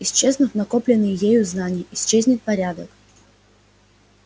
исчезнут накопленные ею знания исчезнет порядок